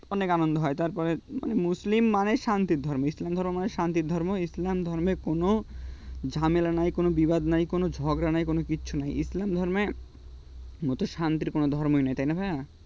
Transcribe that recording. অনেক আনন্দ হয় তারপরে মানে মুসলিম মানে শান্তির ধর্ম ইসলাম ধর্ম মানে শান্তির ধর্ম ইসলাম ধর্মে কোন ঝামেলা নাই কোনো বিবাদ নাই কোন ঝগড়া নেই কোন কিছু নাই ইসলাম ধর্মের মত শান্তির কোন ধর্মই নেই তাই না ভাইয়া